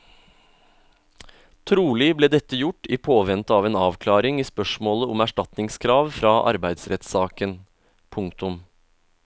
Trolig ble dette gjort i påvente av en avklaring i spørsmålet om erstatningskrav fra arbeidsrettssaken. punktum